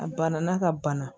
A banana ka bana